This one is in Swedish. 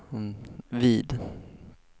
vid